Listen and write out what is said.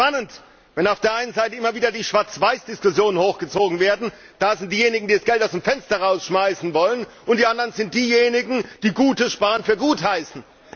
Ich finde es spannend, wenn auf der einen Seite immer wieder die Schwarz Weiß Diskussionen hochgezogen werden da sind diejenigen, die das Geld aus dem Fenster werfen wollen, und die anderen sind diejenigen, die gutes Sparen für gut heißen.